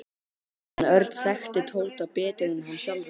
En Örn þekkti Tóta betur en hann sjálfur.